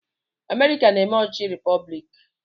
Amerịka na-eme ọchịchị repọblik.